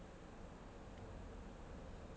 .